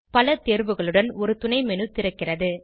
பல தேர்வுகளுடன் ஒரு துணை menu திறக்கிறது